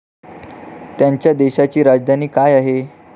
त्यांच्या देशाची राजधानी काय आहे?